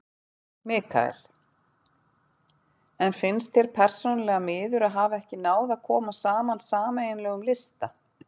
Mikael: En finnst þér persónulega miður að ekki hafi náð að koma saman sameiginlegum lista?